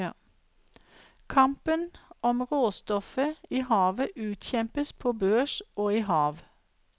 Kampen om råstoffet i havet utkjempes på børs og i hav.